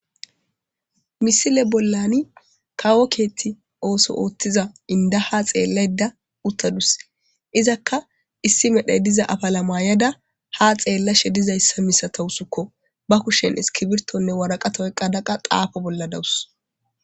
Misile bollan kawo kethi oso othida inida haxelayida utadus izaka issi medhoy diza afala mayada haxelashe dizaysa misatawusuko iza ba kushen ikiritonee wariqate oyikada xapashe deawusko